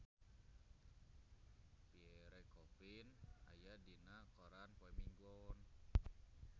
Pierre Coffin aya dina koran poe Minggon